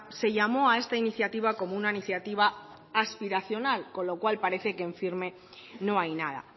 se llamó a esta iniciativa como una iniciativa aspiracional con lo cual parece que en firme no hay nada